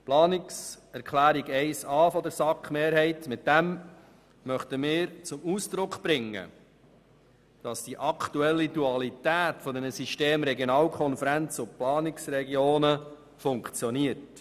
Mit der Planungserklärung 1a der SAK-Mehrheit wollen wir zum Ausdruck bringen, dass die aktuelle Dualität der Systeme Regionalkonferenz und Planungsregionen funktioniert.